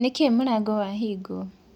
Nĩkĩĩ mũrango wahĩngwo?